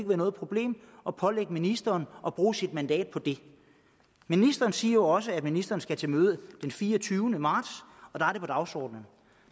være noget problem at pålægge ministeren at bruge sit mandat på det ministeren siger jo også at ministeren skal til møde den fireogtyvende marts og der er det på dagsordenen